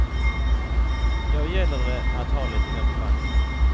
Då gäller det att ha lite mer på banken.